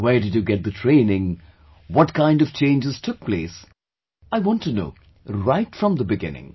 Where did you get the training, what kind of changes took place; I want to know, right from the beginning